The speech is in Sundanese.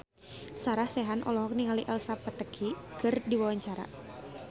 Sarah Sechan olohok ningali Elsa Pataky keur diwawancara